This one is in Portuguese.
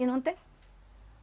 E não tem.